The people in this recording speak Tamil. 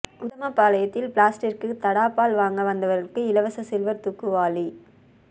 உத்தமபாளையத்தில் பிளாஸ்டிக்கிற்கு தடா பால் வாங்க வந்தவர்களுக்கு இலவச சில்வர் தூக்கு வாளி